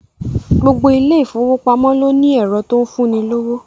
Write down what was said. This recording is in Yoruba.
Gbogbo ilé ìfowópamọ́ ló ní ẹ̀rọ tó ń fún ni lówó